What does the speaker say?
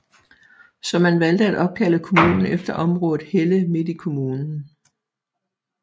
Så man valgte at opkalde kommunen efter området Helle midt i kommunen